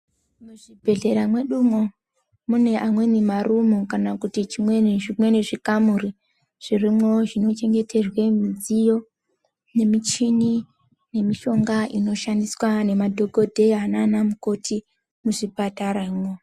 Muzvibhedhlera mwedumwo mune amweni marumu kana kuti zvimweni zvikamuri zvirimwo zvinochengeterwe midziyo, michini nemishonga inoshandiswa ngemadhokodheya anamukoti muzvipataramwo.